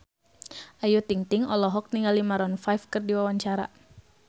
Ayu Ting-ting olohok ningali Maroon 5 keur diwawancara